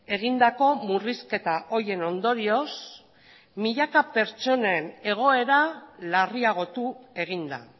egindako murrizketa horien ondorioz milaka pertsonen egoera larriagotu egin da